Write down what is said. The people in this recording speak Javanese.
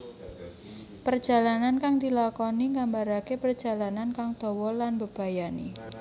Perjalanan kang dilakoni nggambaraké parjalanan kang dawa lan mbebayani